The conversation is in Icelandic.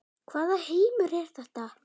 Hvaða heimur er þetta?